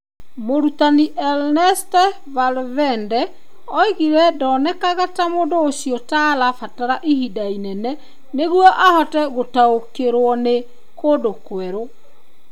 Mũrutani Ernesto Valverde oigire ndonekaga ta mũndũ ũcio ta arabatara ihinda inene nĩguo ahote gũtaũkĩrũo nĩ kũndũ kwerũ.